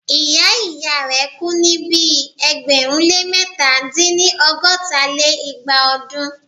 ìyá ìyá rẹ̀ kú ní ibi ẹgbẹ̀rún lé mẹ̀ta dín-ní- ọgọ́ta lé igba ọdún.